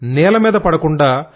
నేల మీద పడకుండా